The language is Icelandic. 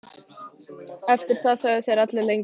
Eftir það þögðu þeir allir lengi.